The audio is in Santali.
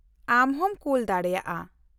-ᱟᱢ ᱦᱚᱸᱢ ᱠᱳᱞ ᱫᱟᱲᱮᱟᱜᱼᱟ ᱾